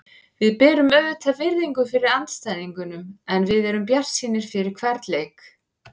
Við berum auðvitað virðingu fyrir andstæðingunum en við erum bjartsýnir fyrir hvern leik.